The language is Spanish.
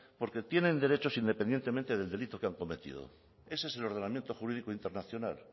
porque tienen derechos independientemente del delito que han cometido ese es el ordenamiento jurídico internacional